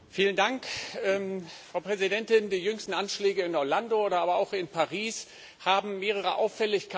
Frau Präsidentin! Die jüngsten Anschläge in Orlando aber auch in Paris haben mehrere Auffälligkeiten gezeigt.